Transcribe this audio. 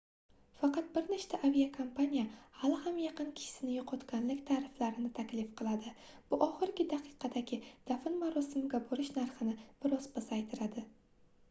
faqat bir nechta aviakompaniya hali ham yaqin kishisini yoʻqotganlik tariflarini taklif qiladi bu oxirgi daqiqadagi dafn marosimiga borish narxini bir oz pasaytiradi